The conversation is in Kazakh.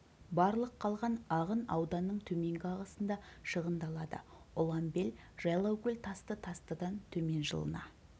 барлық қалған ағын ауданның төменгі ағысында шығындалады ұланбел жайлаукөл тасты тастыдан төмен жылына